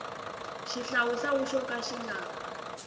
xihlawuhlawu xo ka xi nga